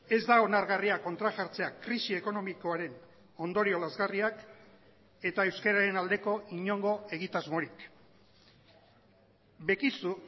ez da onargarria kontra jartzea krisi ekonomikoaren ondorio lazgarriak eta euskararen aldeko inongo egitasmorik bekizu